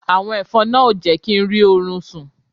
Àwọn ẹ̀fọn náà ò jẹ́ kí n rí orun sún